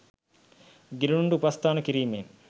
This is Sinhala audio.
ගිලනුන්ට උපස්ථාන කිරීමෙන්